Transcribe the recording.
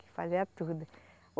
Que fazia tudo.